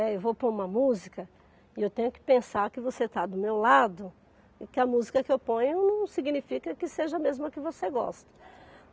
Eh, eu vou pôr uma música e eu tenho que pensar que você está do meu lado e que a música que eu ponho não significa que seja a mesma que você gosta.